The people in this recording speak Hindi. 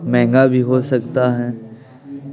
महंगा भी हो सकता --